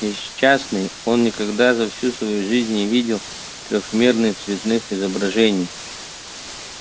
несчастный он никогда за всю свою жизнь не видел трёхмерных цветных изображений